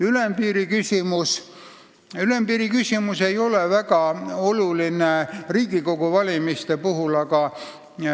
Ülempiiri küsimus ei ole Riigikogu valimise puhul väga oluline.